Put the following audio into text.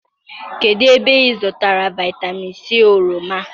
kedụ ebe ị zụtara vitamin c oroma?